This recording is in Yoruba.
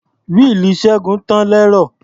Wíìlì Ṣẹ́gun tàn lẹ́rọ̀.